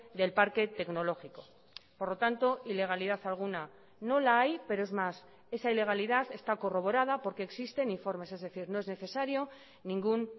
del parque tecnológico por lo tanto ilegalidad alguna no la hay pero es más esa ilegalidad está corroborada porque existen informes es decir no es necesario ningún